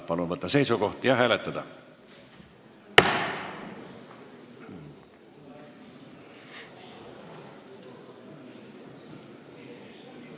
Palun võtta seisukoht ja hääletada!